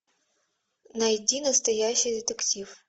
найди настоящий детектив